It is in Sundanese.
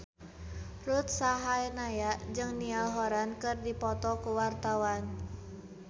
Ruth Sahanaya jeung Niall Horran keur dipoto ku wartawan